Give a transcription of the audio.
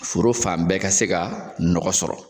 Foro fan bɛɛ ka se ka nɔgɔ sɔrɔ